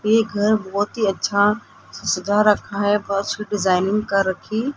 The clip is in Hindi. ये घर बहोत ही अच्छा सजा रखा है बहोत अच्छी डिजाइनिंग कर रखी--